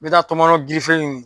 N bɛ taa tɔmɔnɔ ɲini